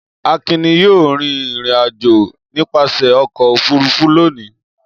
Akin ni yóò rìnrìn-àjò nípasẹ̀ ọkọ̀-òfurufú lónìí.